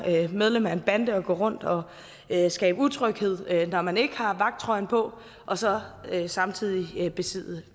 medlem af en bande og gå rundt og skabe utryghed når man ikke har vagttrøjen på og så samtidig besidde